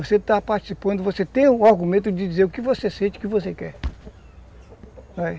Você está participando, você tem o argumento de dizer o que você sente, o que você quer.